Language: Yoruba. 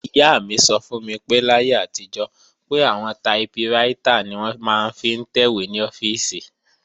Ìyá mi sọ fún mi pé láyé àtijọ́, pé àwọn taiprítà ni wọ́n máa ń fi ń tẹ̀wé ní ọ́fíìsì